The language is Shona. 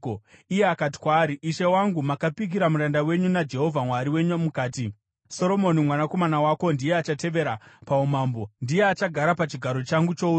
Iye akati kwaari, “Ishe wangu, makapikira muranda wenyu naJehovha Mwari wenyu mukati, ‘Soromoni mwanakomana wako ndiye achatevera paumambo, ndiye achagara pachigaro changu choushe.’